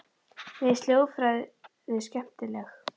Mér finnst hljóðfræði skemmtileg.